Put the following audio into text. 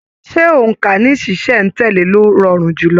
Ṣe óńka ní ṣiṣẹ̀ n tẹ̀lé ló rọrùn jùlọ?